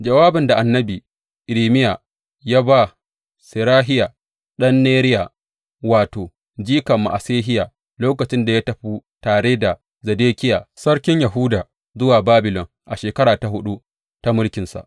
Jawabin da annabi Irmiya ya ba Serahiya, ɗan Neriya, wato, jikan Ma’asehiya, lokacin da ya tafi tare da Zedekiya, Sarkin Yahuda, zuwa Babilon a shekara ta huɗu ta mulkinsa.